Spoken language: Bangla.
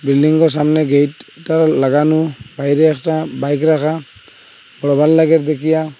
বিল্ডিংগো সামনে গেটটাও লাগানো বাইরে একটা বাইক রাখা বরাবর লাগে দেখিয়া।